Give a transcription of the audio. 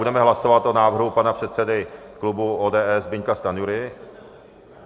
Budeme hlasovat o návrhu pana předsedy klubu ODS Zbyňka Stanjury.